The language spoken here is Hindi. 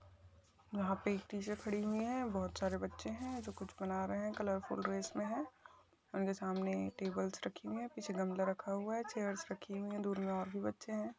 यहा पे एक टीचर खड़ी हुई है बहुत सारे बच्चे है जो कुछ बना रहे है कलर फूल ड्रेस में है उनके सामने टेब्लस रखी हुई है पीछे गमला रखा हुआ है चेयर्स रखी हुई है दूर में और भी बच्चे है।